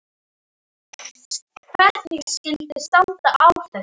Hvernig skyldi standa á þessu?